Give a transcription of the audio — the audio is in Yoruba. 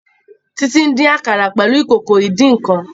Titi dín àkàrà pẹlú Ìkòkò ìdín-nǹkan